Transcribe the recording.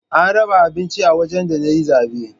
An raba abinci a wajen da na yi zabe